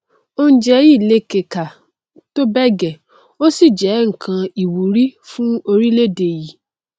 oúnjẹ yìí lékekà tó bẹẹ gẹẹ ó sì jẹ nnkan ìwúrí fún orílẹèdè yìí